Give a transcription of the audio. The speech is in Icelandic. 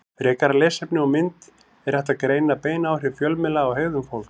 Frekara lesefni og mynd Er hægt að greina bein áhrif fjölmiðla á hegðun fólks?